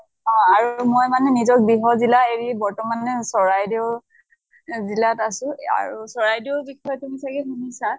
আৰু মই মানে নিজৰ গৃহ জিলা এৰি বৰ্তমানে চৰাইদেউ জিলাত আছো আৰু চৰাইদেউৰ বিষয়ে তুমি চাগে শুনিছা